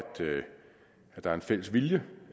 der er en fælles vilje